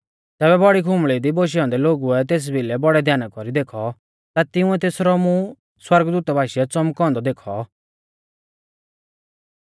तैबै बौड़ी खुंबल़ी दी बोशै औन्दै लोगुऐ तेस भिलै बौड़ै ध्याना कौरी देखौ ता तिंउऐ तेसरौ मुं सौरगदूता बाशीऐ च़ौमकौ औन्दौ देखौ